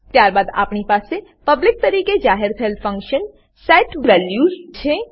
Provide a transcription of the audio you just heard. ત્યારબાદ આપણી પાસે પબ્લિક પબ્લિક તરીકે જાહેર થયેલ ફંક્શન set values છે